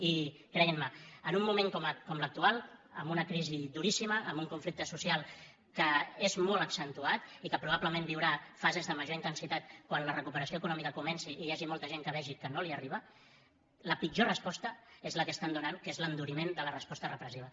i creguin me en un moment com l’actual amb una crisi duríssima amb un conflicte social que és molt accentuat i que probablement viurà fases de major intensitat quan la recuperació econòmica comenci i hi hagi molta gent que vegi que no li arriba la pitjor resposta és la que estan donant que és l’enduriment de la resposta repressiva